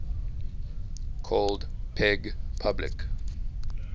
called peg public